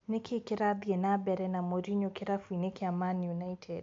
Nĩkĩĩ kĩrathiĩ nambere na Morinyo kĩrabu-inĩ kĩa Mani United ?